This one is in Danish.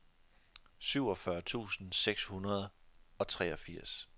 syvogfyrre tusind seks hundrede og treogfirs